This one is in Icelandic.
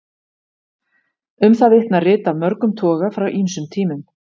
Um það vitna rit af mörgum toga frá ýmsum tímum.